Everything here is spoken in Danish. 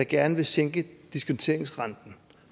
gerne vil sænke diskonteringsrenten